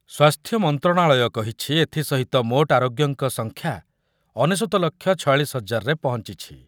ସ୍ୱାସ୍ଥ୍ୟ ମନ୍ତ୍ରଣାଳୟ କହିଛି ଏଥିସହିତ ମୋଟ୍ ଆରୋଗ୍ୟଙ୍କ ସଂଖ୍ୟା ଅନେଶ୍ୱତ ଲକ୍ଷ ଛୟାଳିଶି ହଜାରରେ ପହଞ୍ଚିଛି ।